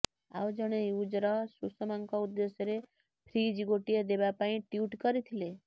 ଆଉ ଜଣେ ୟୁଜର ସୁଷମାଙ୍କ ଉଦ୍ଦେଶ୍ୟରେ ଫ୍ରିଜ୍ ଗୋଟିଏ ଦେବାପାଇଁ ଟ୍ୱିଟ୍ କରିଥିଲେ